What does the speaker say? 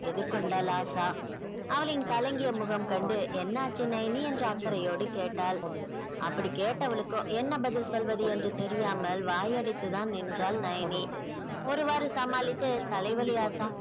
எதிர் கொண்டாள் ஆஷா அவளின் களங்கிய முகம் கண்டு என்னாச்சு நயனி என்று அக்கறையோடு கேட்டாள் அப்படி கேட்டவளுக்கோ என்ன பதில் சொல்வது என்று தெரியாமல் வாயடைத்துதான் நின்றாள் நயனி ஒரு வாரு சமாளித்து தலைவலி ஆஷா